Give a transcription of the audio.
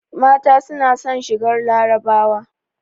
Mata suna son shigar larabawa